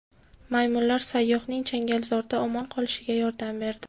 Maymunlar sayyohning changalzorda omon qolishiga yordam berdi.